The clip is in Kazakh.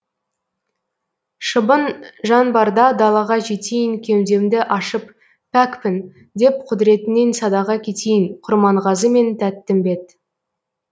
шыбын жан барда далаға жетейін кеудемді ашып пәкпін деп құдіретіңнен садаға кетейін құрманғазы мен тәттімбет